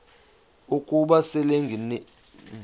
ukuba selengenile uyesu